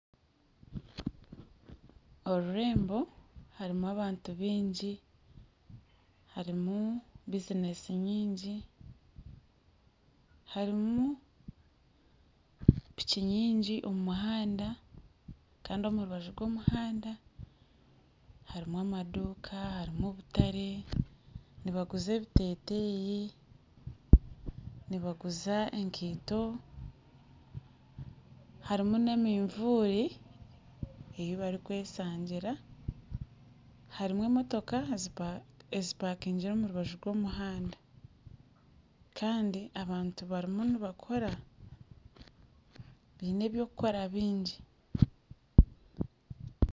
Orurembo harimu abantu baingi harimu bizinesi nyingi harimu piki nyingi omu muhanda kandi omu rubaju rw'omuhanda harimu amaduuka harimu obutare nibaguza ebiteteeyi nibaguza ekaito harimu n'emitaka ei barikweshangira harimu emotooka ezipakingire omu rubaju rw'omuhanda kandi abantu barimu nibakora biine by'okukora bingi.